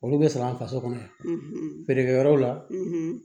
Olu bɛ sara faso kɔnɔ yan feerekɛyɔrɔw la